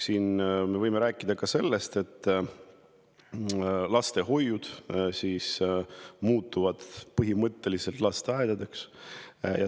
Siinjuures võime rääkida sellest, et lastehoiud muutuvad põhimõtteliselt lasteaedadeks.